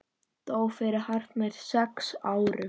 Dó fyrir hartnær sex árum.